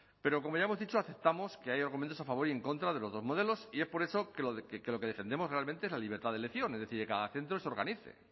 pero como ya hemos dicho aceptamos que hay argumentos a favor y en contra de los dos modelos y es por eso que lo que defendemos realmente es la libertad de elección es decir que cada centro se organice